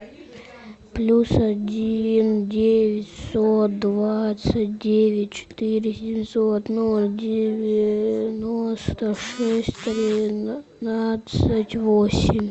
плюс один девятьсот двадцать девять четыре семьсот ноль девяносто шесть тринадцать восемь